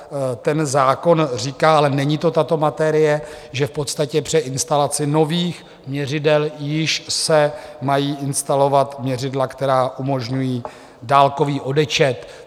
Ten zákon říká - ale není to tato materie - že v podstatě při instalaci nových měřidel již se mají instalovat měřidla, která umožňují dálkový odečet.